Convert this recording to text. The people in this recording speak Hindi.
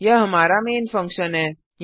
यह हमारा मेन फंक्शन है